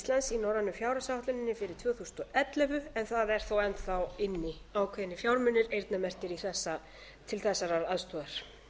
fjárhagsáætluninni fyrir tvö þúsund og ellefu en það eru þó enn þá inni ákveðnir fjármunir eyrnamerktir til þessarar aðstoðar